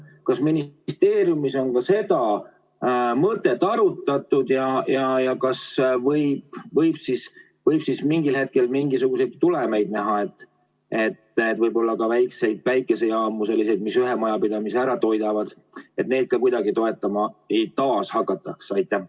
Kas ministeeriumis on ka seda mõtet arutatud ja kas võib mingil hetkel mingisuguseid tulemeid näha, et võib-olla väikeseid päikesejaamu, selliseid, mis ühe majapidamise ära toidavad, taas ka kuidagi toetama hakatakse?